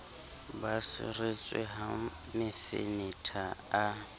ba seretswe ha mefenetha a